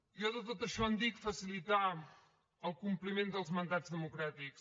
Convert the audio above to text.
jo de tot això en dic facilitar el compliment dels mandats democràtics